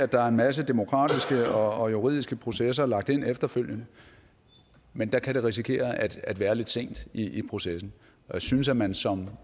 der en masse demokratiske og juridiske processer lagt ind efterfølgende men der kan det risikere at at være lidt sent i processen og jeg synes at man som